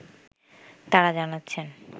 তাঁরা জানাচ্ছেন